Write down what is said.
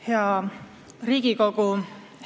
Hea Riigikogu!